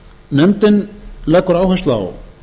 nefndin leggur áherslu á